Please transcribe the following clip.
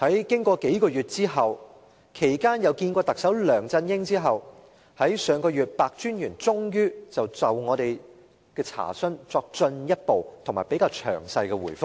經過數月，其間與特首梁振英會面後，白專員在上月終於就我們的查詢作進一步和較詳細的回覆。